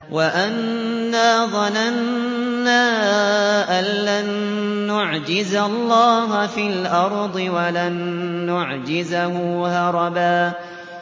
وَأَنَّا ظَنَنَّا أَن لَّن نُّعْجِزَ اللَّهَ فِي الْأَرْضِ وَلَن نُّعْجِزَهُ هَرَبًا